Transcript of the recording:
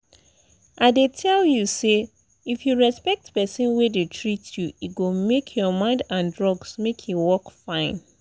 i dey tell you say if you respect person wey dey treat you e go make your mind and drugs make e work fine.